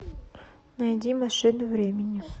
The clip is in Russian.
найди машину времени